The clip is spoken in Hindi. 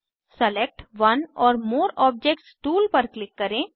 select one or more objects tool पर क्लिक करें